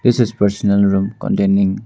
This is personal room containing --